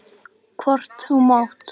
Hvort þú mátt!